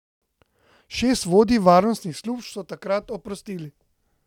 Šest vodij varnostnih služb so takrat oprostili.